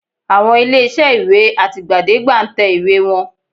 Àwọn ilé-iṣẹ́ ìwé àtìgbàdégbà ń tẹ ìwé wọn